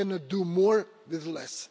We cannot do more with less.